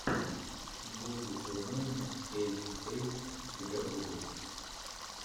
буги ту найн эйт эйт у тебя будет